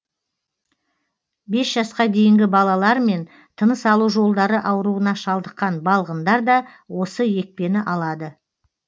бес жасқа дейінгі балалар мен тыныс алу жолдары ауруына шалдыққан балғындар да осы екпені алады